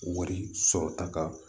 Wari sɔrɔta ka